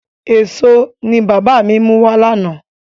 Èso ni bàbá mi mú wá lánàá.